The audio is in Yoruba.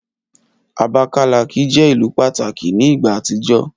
Abakalaki jẹ ilu pataki ni igba atijọ.